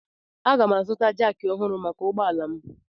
Aga m azụta jakị ọhụrụ maka ụgbọ ala m.